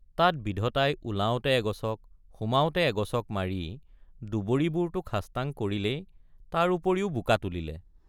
তাত বিধতাই ওলাওঁতে এগচক সোমাওঁতে এগচক মাৰি দুবৰিবোৰতো খাস্তাং কৰিলেই তাৰ উপৰিও বোকা তুলিলে।